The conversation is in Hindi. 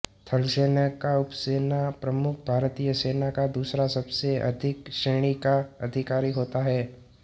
थलसेना का उपसेना प्रमुख भारतीय सेना का दूसरा सबसे अधिक श्रेणी का अधिकारी होता है